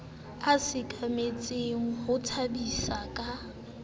a sekametseng ho tshabiseng ka